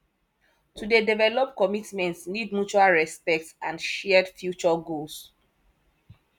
to dey develop commitment need mutual respect and shared future goals